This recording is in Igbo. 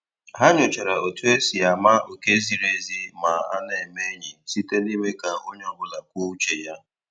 Ha nyochara otu e si ama oké ziri ezi ma a na-eme enyi, site n'ime ka onye ọ bụla kwuo uche ya